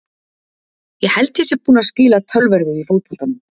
Ég held ég sé búinn að skila töluverðu í fótboltanum.